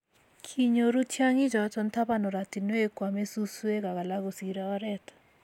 kinyoru tyongichoto taban oratinwek koame suswek ak alak kosirei oret